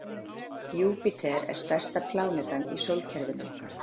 Júpíter er stærsta plánetan í sólkerfinu okkar.